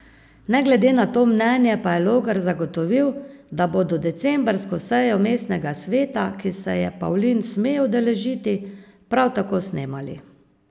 Ne glede na to mnenje pa je Logar zagotovil, da bodo decembrsko sejo mestnega sveta, ki se je Pavlin sme udeležiti, prav tako snemali.